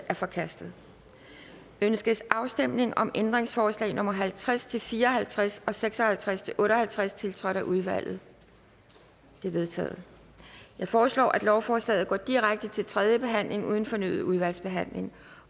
er forkastet ønskes afstemning om ændringsforslag nummer halvtreds til fire og halvtreds og seks og halvtreds til otte og halvtreds tiltrådt af udvalget de er vedtaget jeg foreslår at lovforslaget går direkte til tredje behandling uden fornyet udvalgsbehandling